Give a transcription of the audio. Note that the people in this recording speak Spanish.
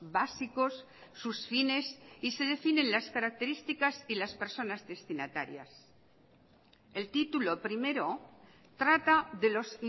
básicos sus fines y se definen las características y las personas destinatarias el título primero trata de los